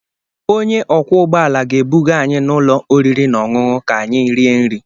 Onye ọkwọ ụgbọala ga-ebuga anyị n'ụlọ oriri na ọṅụṅụ ka anyị rie nri.